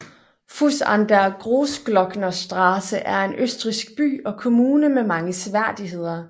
Fusch an der Großglocknerstraße er en østrigsk by og kommune med mange seværdigheder